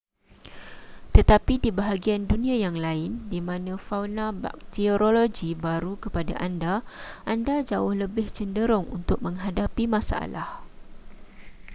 tetapi di bahagian dunia yang lain di mana fauna bakteriologi baru kepada anda anda jauh lebih cenderung untuk menghadapi masalah